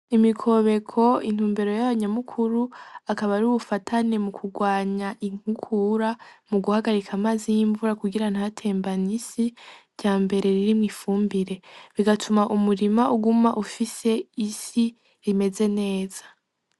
Imikobeko akaba ari ubufatanye mu kurwanya inkukura mu guhagarika amazi y'imvura ku girango ntatembane isi ryambere ririmwo ifumbire bigatuma umurima uguma ufise isi imeze neza.